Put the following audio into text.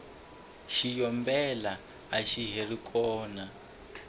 xiyombela axa hari kona